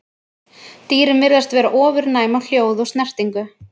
Dýrin virðast vera ofurnæm á hljóð og snertingu.